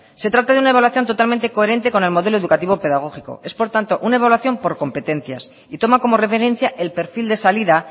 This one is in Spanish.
se trata de una evaluación totalmente coherente con el modelo educativo pedagógico es por tanto una evaluación por competencias y toma como referencia el perfil de salida